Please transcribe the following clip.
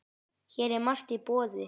Hér er margt í boði.